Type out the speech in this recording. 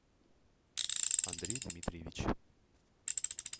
андрей дмитриевич